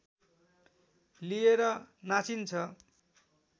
लिएर नाचिन्छ